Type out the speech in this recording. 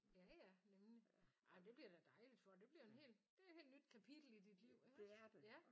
Ja ja nemlig ej men det bliver da dejligt for dig. Det bliver en hel det er et helt nyt kapitel i dit liv iggås?